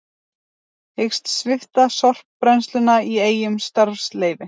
Hyggst svipta sorpbrennsluna í Eyjum starfsleyfi